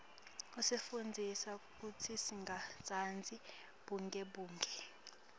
isifundzisa kutsi singatsandzi bugebengu